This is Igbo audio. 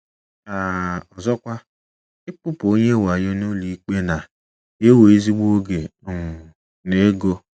um Ọzọkwa, ịkpụpụ onye wayo n’ụlọikpe na - ewe ezigbo oge um na ego.